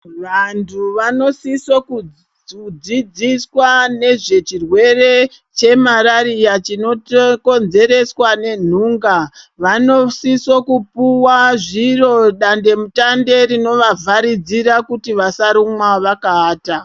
Vantu vanosise kudzidziswa ngezvechirwere chemarariya chinokonzereswa ngenhunga. Vanosise kupuwa zviro dandemutande rinovavharidzira kuti vasarumwa vakaata.